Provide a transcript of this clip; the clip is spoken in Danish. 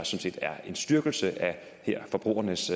set er en styrkelse af forbrugernes